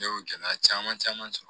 Ne y'o gɛlɛya caman caman sɔrɔ